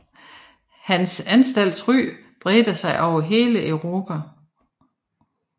Hans anstalts ry bredte sig over hele Europa